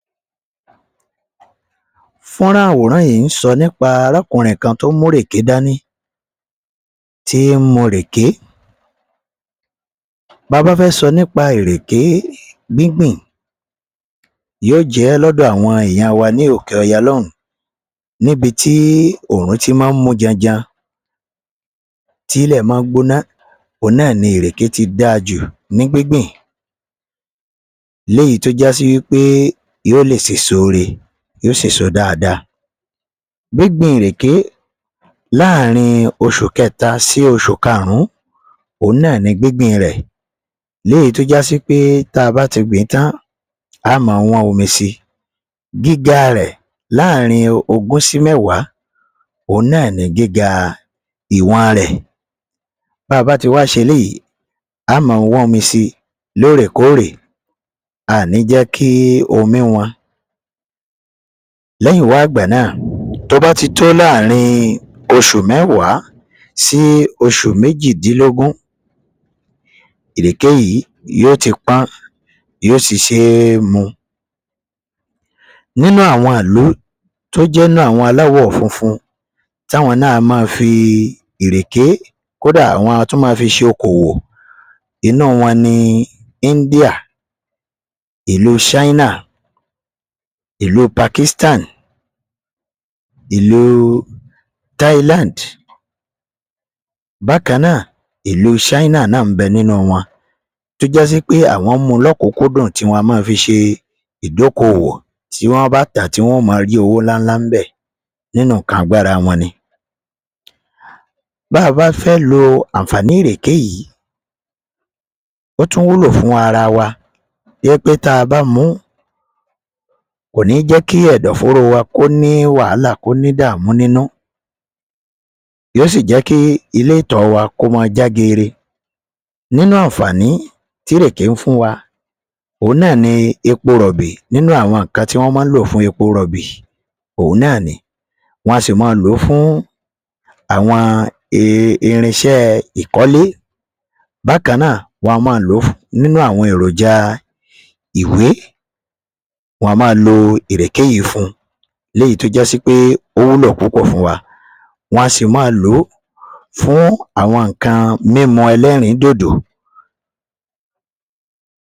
Fún rán àwọ.̀ rán yìí sọ.̀ nípa ará kọ.̀ ọ.̀ kan tó mú ìrẹ.̀ké dáni, tí mú ìrẹ.̀ké. Tà bá fẹ.́ sọ.̀ nípa ìrẹ.̀ké gígbà tí yóò jẹ ló dó àwọn ènìyàn wa ní òkè òyà lóún, níbi tí ọọrun ti máa ń mú janjàn tí lẹ.̀ máa gbóná, ní ìrẹ.̀ké tí dà jù, ní gígbìn lẹ.́yìí tó já sí yóò sọ èso rẹ, yóò sọ èso dáadáa. Gígbìn ìrẹ.̀ké láàárin oṣù kẹta sí oṣù kàrùn-ún ni gígbìn rẹ.̀. Lẹ.́yìí tó já sí pé, tá a bá ti gbìn tán, a ó máa wán omi sí gíga rẹ.̀ láàárin ogún sí mẹ.́wàá oní gíga ìwọ.̀ n rẹ.̀. Tá a bá ti wá ṣe èyí, a máa wán omi sí lẹ.́ẹ.̀kọ.̀ rẹ.̀. A ò ní jẹ.́ kí omi wán. Lẹ.́yìn wá gbà náà, tó bá ti tó ààárín oṣù mẹ.́wàá sí oṣù mẹ.́jìndínlógún, ìrẹ.̀ké yìí yóò ti pọn, yóò ti ṣe mú. Nínú àwọn ìlú tó jẹ.́ ìlú aláwọ.̀ funfun, tí àwọn náà yóò máa fi ìrẹ.̀ké... Kódà, wọ.́ n tún máa fi ṣe òkò wò inú wá, ní India, ìlú China, ìlú Pakistan, ìlú Thailand. Bákannáà, ìlú China náà bẹ.́ẹ.̀ ni nínú wọ́. n, tí ó jẹ.́ wípé àwọn mú lọ kúnkúndùn tí wọ.́ n máa fi ṣe idokowo tí wọ.́ n bá tà, wọ.́ n máa rí ọwó ńláńlá bẹ.́ẹ.̀. Nínú ikàn agbára wọn níbẹ.̀. Bá a bá fẹ.́ lò àǹfààní ìrẹ.̀ké yìí, ó tún wù wá lo fún ara wa wípé tá a bá mú, kò ní jẹ.́ kí èdò ọ.̀ fọ.̀ rọ.̀ wá, kò ní wàláà, ìdààmú nínú. Yóò sì jẹ.́ kí ilé tí a wà kò máa ja gẹ.́gẹ.́ nínú àǹfààní tí ìrẹ.̀ké fún wá. Òun náà ni èpò róbì. Nínú àwọn ikàn tí wọ.́ n máa lò fún èpò róbì, òun náà ni. Wọ.́ n sì máa lò fún àwọn irinṣẹ.́ ìkọlé. Bákannáà, wọ.́ n máa lò fún àwọn iròjà ìwé, wọ.́ n máa lò ìrẹ.̀ké yìí fún. Èyí tó já sí wípé ó wúlò púpọ.̀ fún wa. Wọ.́ n sì máa lò fún àwọn ikàn mímu elérindodo.